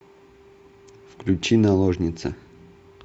включи наложница